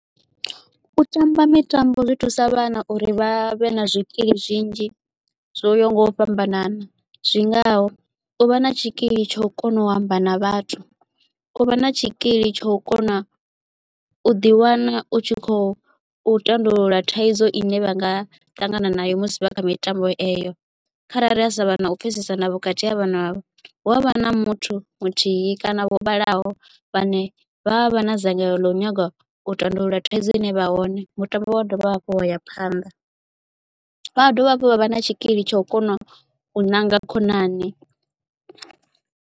U tamba mitambo zwi thusa vhana uri vha vhe na zwikili zwinzhi zwo yaho nga u fhambanana zwingaho u vha na tshikili tsha u kona u amba na vhathu u vha na tshikili tsha u kona u ḓi wana u tshi kho u tandulula thaidzo ine vha nga ṱangana nayo musi vha kha mitambo eyo kharali ha sa vha na u pfhesesana vhukati ha vhana hu avha na muthu muthihi kana vho vhalaho vhane vha vha vha na dzangalelo ḽa u nyaga u tandulula thaidzo ine ya vha hone mutambo wa dovha hafhu wa ya phanḓa vha ha dovha hafhu vha vha na tshikili tsha u kona u ṋanga khonani.